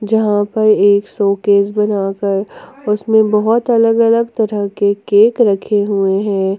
जहां प एक शोकेस बना कर उसमें बहुत अलग अलग तरह के केक रखे हुए हैं।